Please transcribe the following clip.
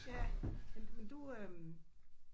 Ja. Men men du øh